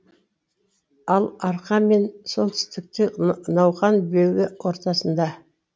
ал арқа мен солтүстікте науқан белбе ортасында